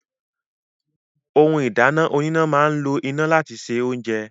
Ohun ìdáná oníná máa ń lo iná láti se oúnjẹ